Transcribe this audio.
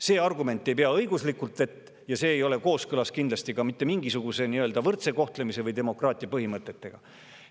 See argument ei pea õiguslikult vett ja see ei ole kindlasti kooskõlas ka mitte mingisuguste võrdse kohtlemise või demokraatia põhimõtetega.